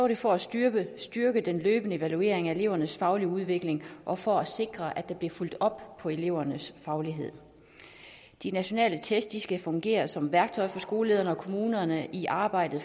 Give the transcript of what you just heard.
det for at styrke styrke den løbende evaluering af elevernes faglige udvikling og for at sikre at der blev fulgt op på elevernes faglighed de nationale test skal fungere som værktøjer for skolelederne og kommunerne i arbejdet